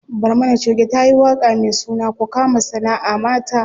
Barmana choge tayi waƙa me suna ku kama sanaʼa mata.